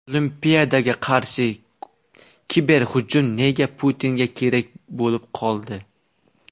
Olimpiadaga qarshi kiberhujum nega Putinga kerak bo‘lib qoldi?